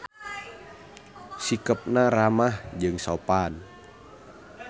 Sikepna ramah jeung sopan.